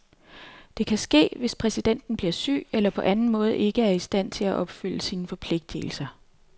Det kan ske, hvis præsidenten bliver syg eller på anden måde ikke er i stand til at opfylde sine forpligtelser.